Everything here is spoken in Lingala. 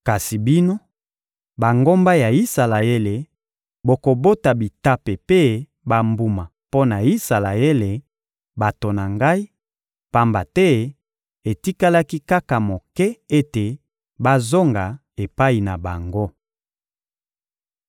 Kasi bino, bangomba ya Isalaele, bokobota bitape mpe bambuma mpo na Isalaele, bato na Ngai; pamba te etikali kaka moke ete bazonga epai na bango.